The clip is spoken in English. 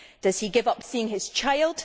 Does he give up on seeing his child?